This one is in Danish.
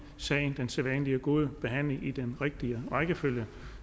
sagen den sædvanlige gode behandling i den rigtige rækkefølge